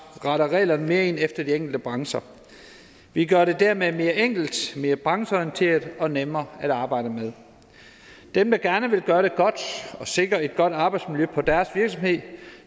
retter reglerne mere ind efter de enkelte brancher vi gør det dermed mere enkelt mere brancheorienteret og nemmere at arbejde med dem der gerne vil gøre det godt og sikre et godt arbejdsmiljø på deres virksomhed